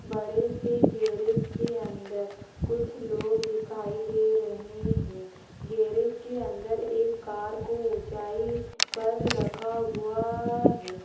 बड़े से गैरेज के अंदर कुछ लोग दिखाई दे रहे हैं गैरेज के अंदर एक कार को ऊंचाई पर रखा हुआ है।